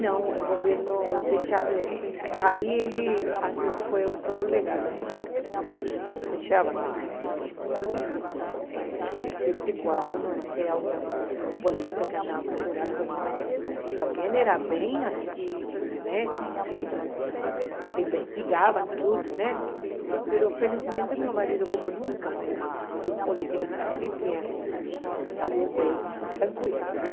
Não, o governo deixava, aí ele achou que foi o legal, o militar, porque deixava sair, lógico, eh sempre quando, não sei, o político que andava procurando pessoas, porque também era bem assim, né, te investigavam tudo, né, mas felizmente meu marido, como nunca foi político, ele tinha, saiu bem, tranquilo, né.